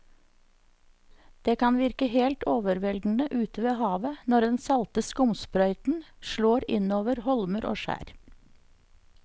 Det kan virke helt overveldende ute ved havet når den salte skumsprøyten slår innover holmer og skjær.